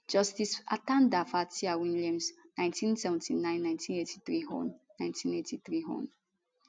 justice atanda fataiwilliams 1979 1983 hon 1983 hon